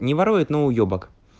не ворует но уебак